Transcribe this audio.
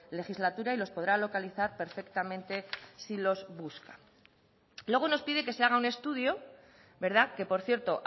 legislatura y los podrá localizar perfectamente si los busca luego nos pide que se haga un estudio que por cierto